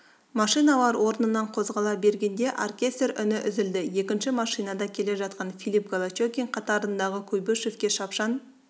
машиналар орнынан қозғала бергенде оркестр үні үзілді екінші машинада келе жатқан филипп голощекин қатарындағы куйбышевке шапшаң